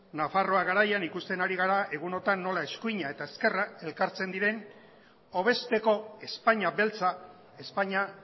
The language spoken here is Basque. nafarroa garaian ikusten ari gara nola eskuina eta ezkerrak elkartzen diren hobezteko espainia beltza espainia